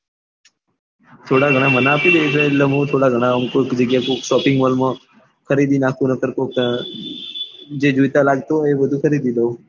થોડા ઘણાં મને આપી દે તો એટલે મુ થોડા ઘણાં આમ કોઈક જગ્યા એ ક્યાંક shopping mall ખરીદી નાખું નકાર કોક જે જોઈતા લાગતું હોય એ બધું ખરીદી લઉં